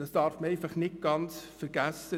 Dies darf man nicht vergessen.